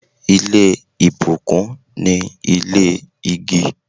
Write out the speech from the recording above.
Ile ibukun ni ile igi